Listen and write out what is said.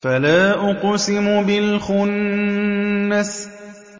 فَلَا أُقْسِمُ بِالْخُنَّسِ